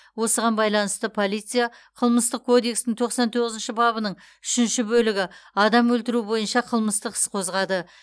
осыған байланысты полция қылмыстық кодекстің тоқсан тоғызыншы бабының үшінші бөлігі адам өлтіру бойынша қылмыстық іс қозғады